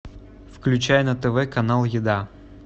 включай на тв канал еда